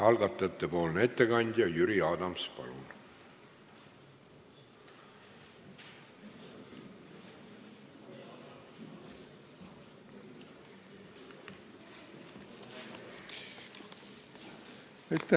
Algatajate ettekandja Jüri Adams, palun!